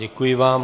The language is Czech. Děkuji vám.